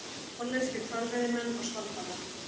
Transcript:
Hollenskir hvalveiðimenn á Svalbarða.